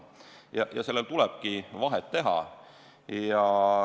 Ja neil tulebki vahet teha.